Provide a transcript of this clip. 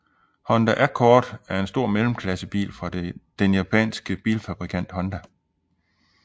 Honda Accord er en stor mellemklassebil fra den japanske bilfabrikant Honda